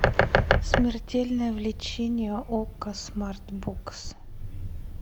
смертельное влечение окко смарт бокс